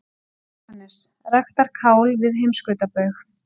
JÓHANNES: Ræktar kál við heimskautsbaug!